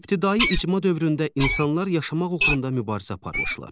İbtidai icma dövründə insanlar yaşamaq uğrunda mübarizə aparmışlar.